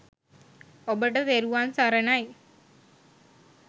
ඔබට තෙරුවන් සරණයි